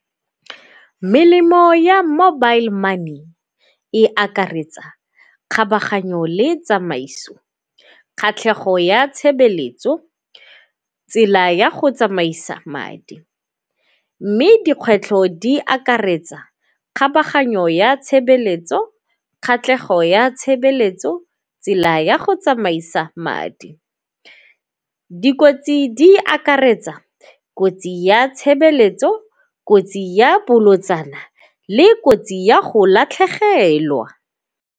Melemo ya mobile money e akaretsa kgabaganyo le tsamaiso, kgatlhego ya tshebeletso, tsela ya go tsamaisa madi. Mme dikgwetlho di akaretsa kgabaganyo ya tshebeletso, kgatlhego ya tshebeletso, tsela ya go tsamaisa madi. Dikotsi di akaretsa kotsi ya tshebeletso, kotsi ya bolotsana le kotsi ya go latlhegelwa.